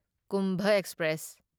Kumbha express